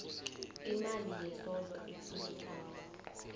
imali yesondlo efunekako